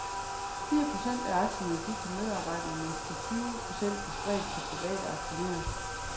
Fire procent af aktierne gik til medarbejderne, mens de tyve procent blev spredt på private aktionærer.